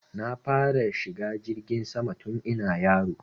Na fara shiga jirgin sama tun ina yaro